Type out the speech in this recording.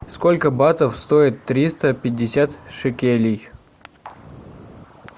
сколько батов стоит триста пятьдесят шекелей